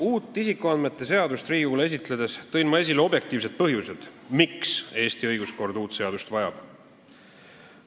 Uut isikuandmete seadust Riigikogule esitledes tõin ma esile objektiivsed põhjused, miks Eesti õiguskord uut seadust vajab.